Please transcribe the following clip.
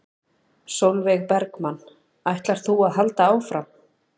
Sólveig Bergmann: Ætlar þú að halda áfram?